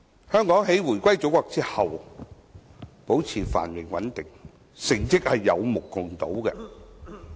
香港回歸祖國後保持繁榮穩定，成績有目共睹。